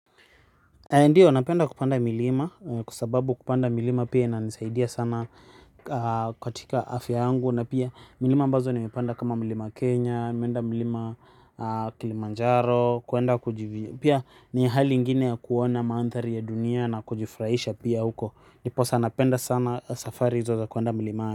Ndio napenda kupanda milima kwa sababu kupanda milima pia inanisaidia sana katika afya yangu na pia milima ambazo nimepanda kama mlima Kenya, mlima Kilimanjaro kwenda kujivinjari pia ni hali ingine ya kuona mandhari ya dunia na kujifurahisha pia huko. Ndiposa napenda sana safari hizo za kuenda milimani.